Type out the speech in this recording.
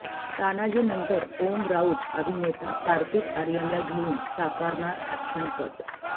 तानाजीनंतर ओम राऊत अभिनेता कार्तिक आर्यनला घेऊन साकारणार अॅक्शनपट